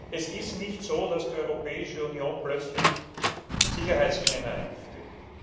Es ist nicht so, dass die Europäische Union plötzlich Sicherheitsscanner einführt.